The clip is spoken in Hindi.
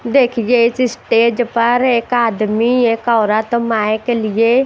देखिए इस स्टेज पर एक आदमी एक औरत माइक लिए--